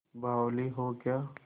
बावली हो क्या